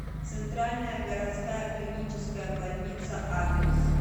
центральная городская клиническая больница адрес